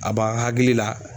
A b'an hakili la